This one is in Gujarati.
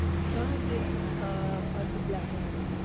ઘણું જ આ અજીબ લાગે આવું